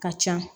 Ka ca